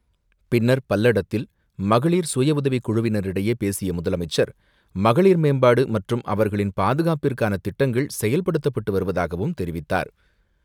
பின்னர் பல்லடத்தில் மகளிர் சுயஉதவிக்குழுவினரிடையே பேசிய முதலமைச்சர், மகளிர் மேம்பாடுமற்றும் அவர்களின் பாதுகாப்பிற்கானதிட்டங்கள் செயல்படுத்தப்பட்டுவருவதாகவும் தெரிவித்தார்.